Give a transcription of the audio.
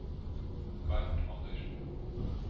Bernt Anderssen